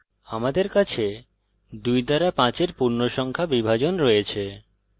আমাদের কাছে 2 দ্বারা 5 এর পূর্ণসংখ্যা বিভাজন রয়েছে